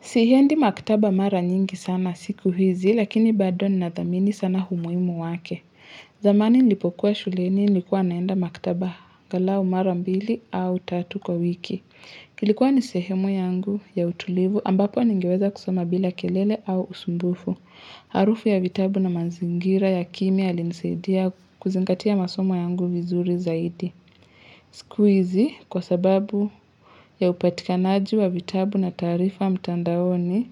Siendi maktaba mara nyingi sana siku hizi, lakini bado nathamini sana umuhimu wake. Zamani nilipokuwa shuleni nilikuwa naenda maktaba angalau mara mbili au tatu kwa wiki. Ilikuwa ni sehemu yangu ya utulivu ambapo ningeweza kusoma bila kelele au usumbufu. Harufu ya vitabu na mazingira ya kimya yalinsaidia kuzingatia masomo yangu vizuri zaidi. Sikuhizi kwa sababu ya upatikanaji wa vitabu na taarifa mtandaoni